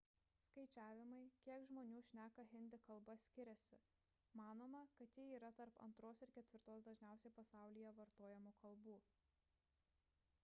skaičiavimai kiek žmonių šneka hindi kalba skiriasi manoma kad ji yra tarp antros ir ketvirtos dažniausiai pasaulyje vartojamų kalbų